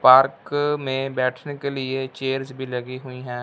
Park में बैठने के लिए चेयर्स भी लगी हुई है।